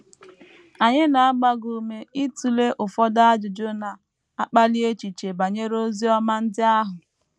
Anyị na - agba gị ume ịtụle ụfọdụ ajụjụ na - akpali echiche banyere Oziọma ndị ahụ.